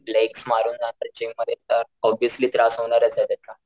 Legs मारून जाणार gym मध्ये तर ओबुअस्ली त्रास होणारच ना त्याचा.